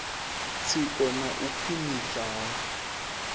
tsiko na u khwiniswa ha